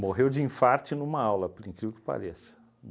Morreu de infarte numa aula, por incrível que pareça.